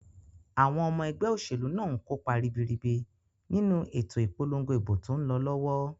Àwon omo egbé òsèlú náà nkópa ribiribi nínu ètò ìpolongo ìbò tón lo lówó